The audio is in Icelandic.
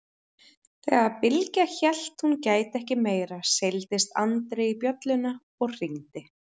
Þegar Bylgja hélt hún gæti ekki meira seildist Andri í bjölluna og hringdi.